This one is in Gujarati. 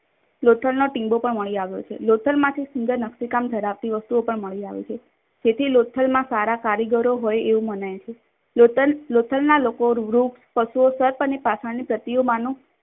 લોથલ નો ટિમ્બો પણ મળી આવ્યો છે. લોથલ માંથી વસ્તુઓ પણ મળી આવે છે. તેથી લોથલમાં સારા કારીગરો હોય એવું મનાય છે. લોથલના લોકો વૃક્ષ પશુ અને પાષાણની પ્રતિઓમાંનું